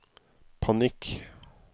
panikk